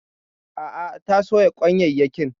A'a ta soya kwanyayyakin.